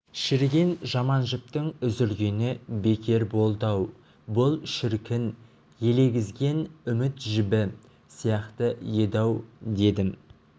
шіріген жаман жіптің үзілгені бекер болды-ау бұл шіркін елегізген үміт жібі сияқты еді-ау дедім